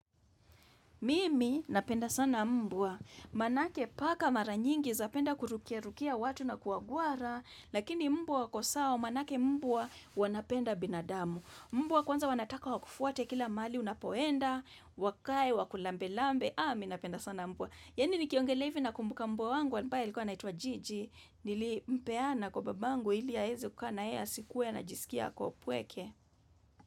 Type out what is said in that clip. Mimi napenda sana mbwa Manake paka mara nyingi zapenda kurukia rukia watu na kuwagwara, lakini mbwa wako sawa, manake mbwa wanapenda binadamu. Mbwa kwanza wanataka wakufuate kila mali unapoenda, wakae, wakulambe lambe, ah mi napenda sana mbwa. Yaani nikiongelea hivi nakumbuka mbwa wangu, ambae alikuwa anaitwa jiji, nilimpeana kwa babangu ili aeze kukaa naye asikuwe anajisikia ako mpweke.